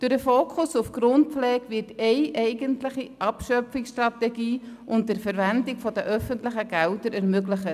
Durch den Fokus auf die Grundpflege wird eine eigentliche Abschöpfungsstrategie unter Verwendung der öffentlichen Gelder ermöglicht.